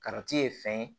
ye fɛn ye